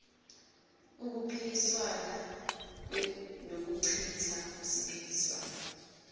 impikiswano nokuchithwa kwesivumelwane